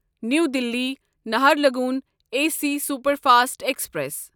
نیو دِلی نہرلگون A C superfast express